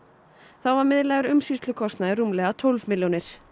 þá var miðlægur umsýslukostnaður rúmlega tólf milljónir